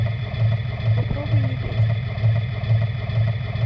попробуй не петь